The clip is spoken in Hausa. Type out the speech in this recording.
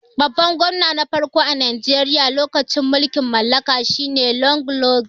Babban gwamna na farko a Najeriya lokacin mulkin mallaka shi ne Lod lugad.